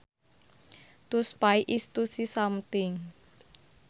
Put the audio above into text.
To spy is to see something